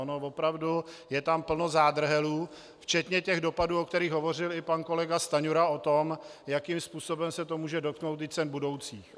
Ono opravdu je tam plno zádrhelů včetně těch dopadů, o kterých hovořil i pan kolega Stanjura, o tom, jakým způsobem se to může dotknout i cen budoucích.